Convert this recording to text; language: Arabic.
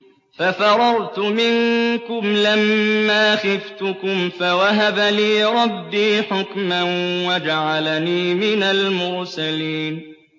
فَفَرَرْتُ مِنكُمْ لَمَّا خِفْتُكُمْ فَوَهَبَ لِي رَبِّي حُكْمًا وَجَعَلَنِي مِنَ الْمُرْسَلِينَ